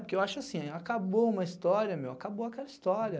Porque eu acho assim, acabou uma história, meu, acabou aquela história.